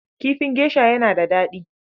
Kifin gesha yana daɗi.